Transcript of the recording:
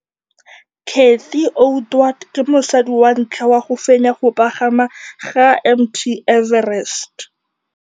Cathy Odowd ke mosadi wa ntlha wa go fenya go pagama ga Mt Everest.